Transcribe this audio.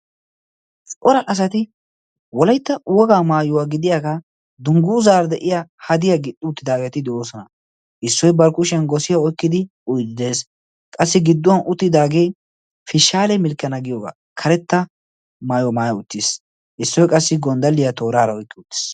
Cora asati wolaitta wogaa maayuwaa gidiyaagaa dungguuzaar de'iya hadiya gixxi uttidaageeti de'oosona. issoi barkkushiyan gosiya oykkidi dees. qassi gidduwan uttidaagee pishaale milkkana giyoogaa karetta maayo maaya uttiis issoy qassi gonddaliyaa tooraara oyqqi uttiis.